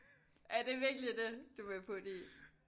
Er det virkelig det du vil putte i